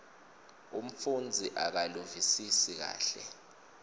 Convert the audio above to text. umfundzi akaluvisisi kahle